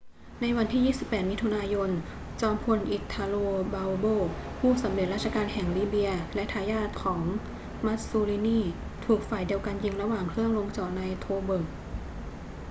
ในวันที่ 28 มิถุนายน จอมพล italo balbo ผู้สำเร็จราชการแห่งลิเบียและทายาทของ mussolini ถูกฝ่ายเดียวกันยิงระหว่างเครื่องลงจอดใน tobruk